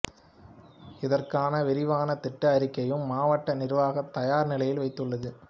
இதற்கான விரிவான திட்ட அறிக்கையும் மாவட்ட நிர்வாகம் தயார் நிலையில் வைத்துள்ளது